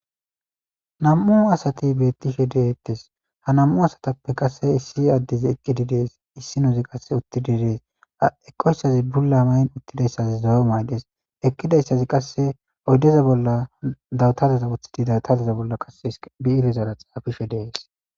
nam7u asati beettishe deeettes ha nam7u asatappe qasse issi addezi eqqidi dees issinozi qasse uttididees eqoyssazi bulla mayn uttidayssazi zoyo mayqes eqqidayssazi qasse oyddeza bolla dawutadeza woththidi dawtazeza bolla qase biirezara xaafishe dees